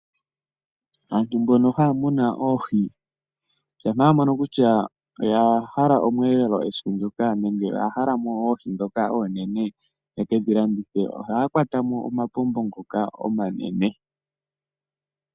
Aantu mbono haa munu oohi ngele oya mono kutya oya hala omweelolo esiku ndoka, nenge yahala mo oohi ndhoka oonene yeke dhi landithe ,ohaa kwata mo omapombo ngoka omanene.